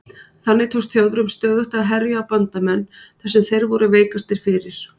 Þannig tókst Þjóðverjum stöðugt að herja á bandamenn þar sem þeir voru veikastir fyrir.